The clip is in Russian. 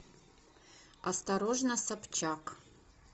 осторожно собчак